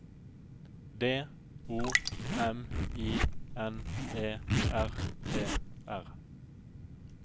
D O M I N E R E R